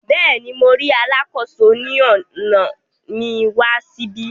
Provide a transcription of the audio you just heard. Béèni, Mo ríi Alàkóso ni ọna mi wà síbí